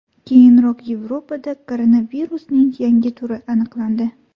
Keyinroq Yevropada koronavirusning yangi turi aniqlandi .